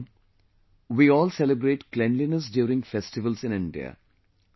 She has written "We all celebrate cleanliness during festivals in India